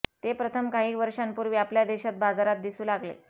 ते प्रथम काही वर्षांपूर्वी आपल्या देशात बाजारात दिसू लागले